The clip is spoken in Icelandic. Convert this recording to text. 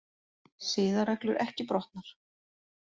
Siðareglur ekki brotnar